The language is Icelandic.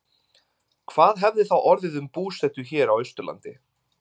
Hvað hefði þá orðið um búsetu hér á Austurlandi?